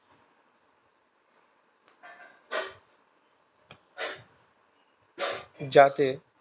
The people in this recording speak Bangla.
যাতে